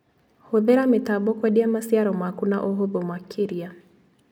Hũthĩra mĩtambo kwendia maciaro maku na ũhũthũ makĩria.